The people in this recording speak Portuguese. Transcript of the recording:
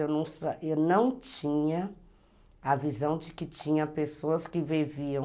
Eu não eu não tinha a visão de que tinha pessoas que viviam